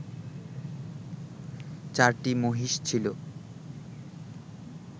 চারটি মহিষ ছিল